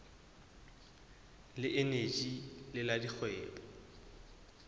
le eneji le la dikgwebo